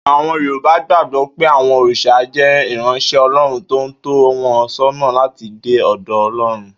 Àwo̩n Yorùbá gbàgbó̩ pé àwo̩n òrìs̩à jé̩ ìráns̩é̩ O̩ló̩run tó ń tó̩ wo̩n só̩nà láti dé ò̩dò̩ O̩ló̩run